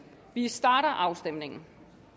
vi starter afstemningen